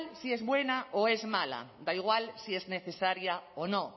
si es buena o es mala da igual si es necesaria o no